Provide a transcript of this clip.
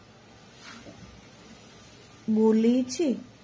બોલે છે